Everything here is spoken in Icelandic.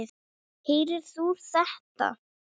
Heyrðir þú þetta?